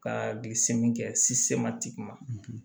Ka bi se min kɛ tigi ma